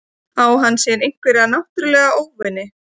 Á hann sér einhverja náttúrulega óvini?